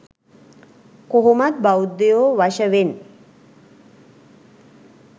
කොහොමත් බෞද්ධයෝ වශවෙන්